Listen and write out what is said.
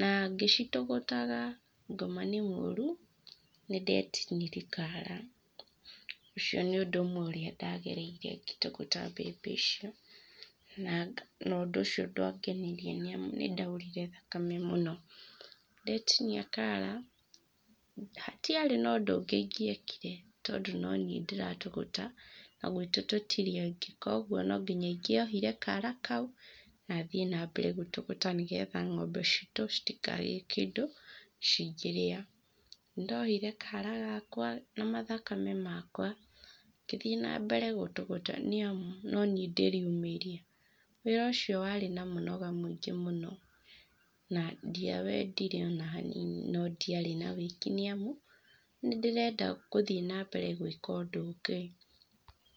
Na ngĩcitũgũtaga, ngoma nĩ mũru, nĩ ndeetinirie kara. Ũcio nĩ ũndũ ũmwe ũrĩa ndagereire ngĩtũgũta mbembe icio, na ũndũ ũcio ndwangenirie nĩ amu nĩ ndaurire thakame mũno. Ndetinia kara, hatiarĩ na ũndũ ũngĩ ingĩekire, tondũ no niĩ ndĩratũgũta, na gwitũ tũtirĩ angĩ. Kwoguo no ngiya ingĩaohire kara kau, na thiĩ nambere gũtũgũta nĩgetha ng'ombe citũ citikage kĩndũ cingĩrĩa. Nĩ ndohire kara gakwa na mathakame makwa, ngĩthiĩ nambere gũtũgũta nĩ amu, no niĩ ndĩriumĩria. Wĩra ũcio warĩ na mũnoga mũingĩ mũno na ndiawendire o na hanini, no ndiarĩ na wĩki, nĩ amu nĩ ndĩrenda gũthiĩ nambere gwĩka ũndũ ũngĩ.